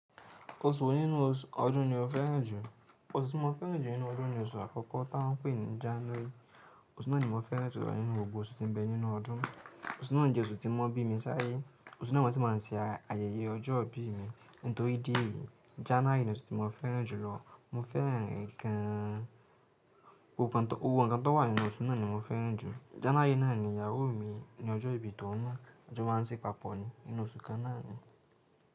Oṣù wo nínú ọdún ni o fẹ́ràn jù. Oṣù tí mo fẹ́ràn jù nínú ọdún ni oṣù àkọ́kọ́ tá ń pè ní January. Oṣù náà ni mo fẹ́ràn jù lọ nínú gbogbo oṣù tí ń bẹ nínú ọdún. Oṣù náà jẹ́ oṣù tí wọ́n bí mi sí ayé. Oṣù náà ni wọ́n ti máa ń ṣe ayẹyẹ ọjọ́ ìbí mi. Nítorí díẹ̀ yìí, January ni oṣù tí mo fẹ́ràn jù lọ. Mo fẹ́ràn ǹkan, gbogbo nkan tó wà nínú oṣù náà ni mo fẹ́ràn jù. January náà ni ìyàwó mi ni ọjọ́ ìbí tòun na. A jọ́ máa ń sí papọ̀ ni nínú oṣù kan náà ni.